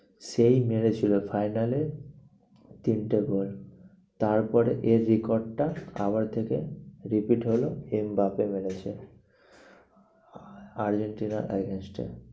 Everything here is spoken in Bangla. সেই মেরেছিলো final এ তিনটে goal তারপরে এর থেকে repeat হলো এমবাপে মেরেছে। আর্জেন্টিনার against এ